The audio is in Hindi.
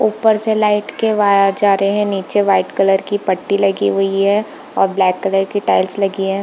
ऊपर से लाइट के वायर जा रहे नीचे वाइट कलर की पट्टी लगी हुई हे औ ब्लैक कलर की टाइल्स लगी है।